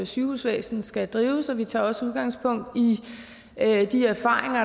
sygehusvæsen skal drives og vi tager også udgangspunkt i de erfaringer